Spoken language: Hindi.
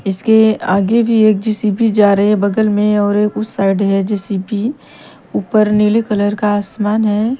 इसके आगे भी एक जे_ सी_ बी जा रही है बगल में और उस साईड है जे_ सी_ बी ऊपर नीले कलर का आसमान है।